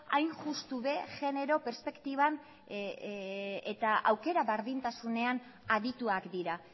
hain justu ere genero perspektiba eta aukera berdintasunean adituak dira